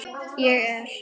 Ég er.